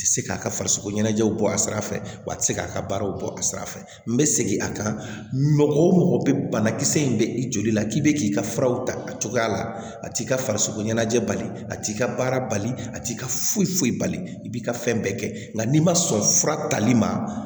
Ti se k'a ka farisogo ɲɛnajɛw bɔ a sira fɛ wa a tɛ se k'a ka baaraw bɔ a sira fɛ n bɛ segin a kan mɔgɔ o mɔgɔ bɛ banakisɛ in bɛ i joli la k'i bɛ k'i ka furaw ta a cogoya la a t'i ka farisoko ɲɛnajɛ bali a t'i ka baara a t'i ka foyi foyi bali i b'i ka fɛn bɛɛ kɛ nka n'i ma sɔn fura tali ma